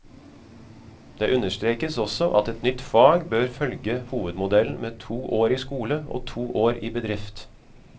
Det understrekes også at et nytt fag bør følge hovedmodellen med to år i skole og to år i bedrift.